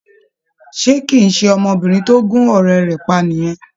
Ṣé kì í ṣe ọmọbìnrin tó gún ọ̀rẹ́ rẹ̀ pa nìyẹn?